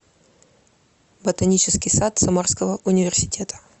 ботанический сад самарского университета